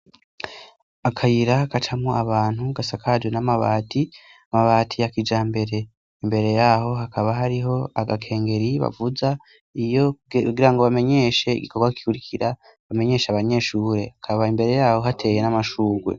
Akayira kacamwo abantu gasakajwe n'amabati amabati ya kijambere imbere yaho hakaba hariho agakengeri bavuza iyo gira ngo bamenyeshe igikorwa kurikira bamenyeshe abanyeshuri akaba imbere yaho hateye n'amashugwe.